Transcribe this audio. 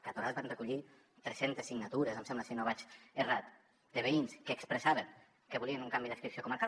que a torà es van recollir tres centes signatures em sembla si no vaig errat de veïns que expressaven que volien un canvi d’adscripció comarcal